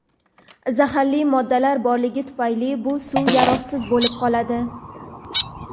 zaharli moddalar borligi tufayli bu suv yaroqsiz bo‘lib qoladi.